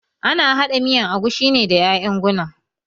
Ana haɗa miyan agushi ne da ƴaƴan guna